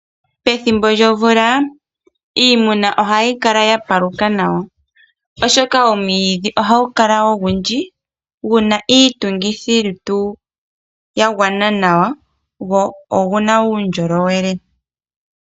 Pethimbo lyomvula iimuna ohayi kala yapaluka nawa oshoka omwiidhi ohagu kala ogundji guna iitungithi lutu yagwana nawa go oguna uundjolowele.